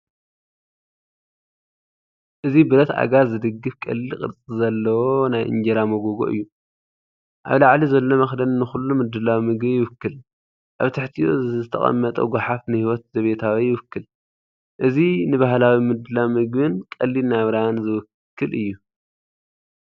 እዚ ብረት ኣእጋር ዝድገፍ ቀሊል ቅርጺ ዘለዎ ናይ እንጀራ መጎጎ እዩ። ኣብ ላዕሊ ዘሎ መኽደኒ ንኹሉ ምድላው ምግቢ ይውክል፤ ኣብ ትሕቲኡ ዝተቐመጠ ጐሓፍ ንህይወት ዘቤታዊ ይውክል። እእዚ ንባህላዊ ምድላው ምግብን ቀሊል ናብራን ዝውክል እዩ።